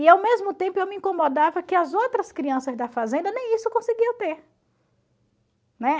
E, ao mesmo tempo, eu me incomodava que as outras crianças da fazenda nem isso conseguiam ter. Né?